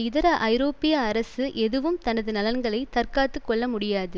இதர ஐரோப்பிய அரசு எதுவும் தனது நலன்களை தற்காத்து கொள்ள முடியாது